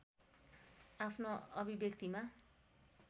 आफ्नो अभिव्यक्तिमा